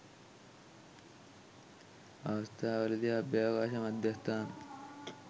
අවස්ථා වලදී අභ්‍යාවකාශ මධ්‍යස්ථානය